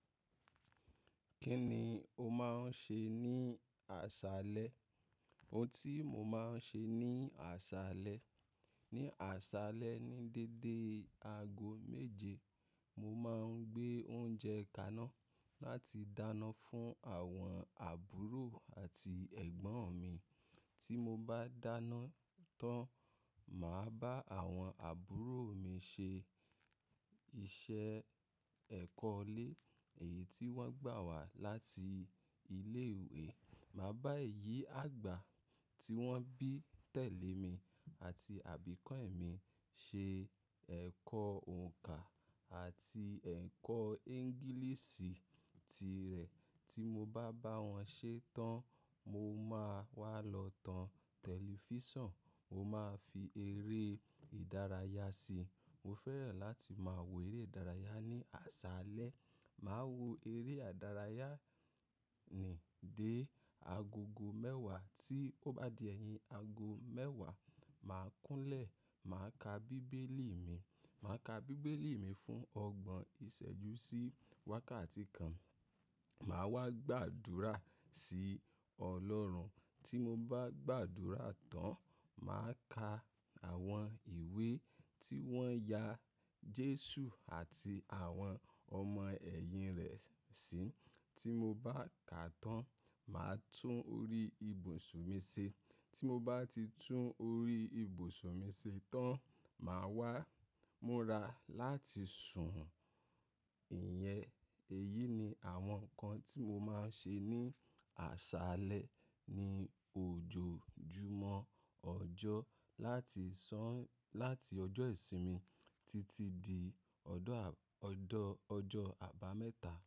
Kí ni o máa ń ṣe ní àṣálẹ́? Ohun tí mo máa ń ṣe ní àṣálẹ́, ní àṣálẹ́ ní dédé aago méje, mo máa ń gbé oúnjẹ kaná láti dáná fún àwọn àbúrò àti ẹ̀gbọ́n mi. Tí mo bá dáná tán, màá bá àwọn àbúrò mi ṣe iṣẹ́ ẹ̀kọ́ ilé, èyí tí wọ́n gbà wá láti ilé ìwé. Màá bá èyí àgbà tí wọ́n bí tẹ̀lé mi àti àbíkọ́ ẹ̀ mi ṣe ẹ̀kọ́ òǹkà àti ẹ̀kọ́ ẹ́ńgìlísì tirẹ̀. Tí mo bá bá wọn ṣe tán, mo máa wá lọ tan tẹlifísàn, mo máa fi eré ìdárayá síi. Mo fẹ́ràn láti máa wo eré ìdárayá ní àṣálẹ́. Màá wo eré ìdárayá ni dé agogo mẹ́wàá, tí ó bá di ẹyin aago mẹ́wàá, màá kúnlẹ̀, màá ka bíbélì mi. Màá ka bíbélì mi fún ọgbọ̀n ìṣẹ́jú sí wákàtí kan. Màá wá gbàdúrà sí Ọlọ́run. Tí mo bá gbàdúrà tán, màá ka àwọn ìwé tí wọ́n ya Jésù àti àwọn ọmọ ẹ̀yìn rẹ̀ sí. Tí mo bá ka tán, màá tún orí ibùsùn mi ṣe. Tí mo bá ti tún orí ibùsùn mi ṣe tán, màá wá múra láti sùn. Ìyẹn, èyí ni àwọn nǹkan tí mo máa ń ṣe ní àṣálẹ́ ní ojoojúmọ́ ọjọ́, láti sán-- láti ọjọ́ ìsinmi títí di ọdọ́ à-- ọdọ ọjọ́ àbámẹ́ta.